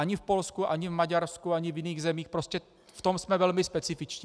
Ani v Polsku, ani v Maďarsku, ani v jiných zemích, prostě v tom jsme velmi specifičtí.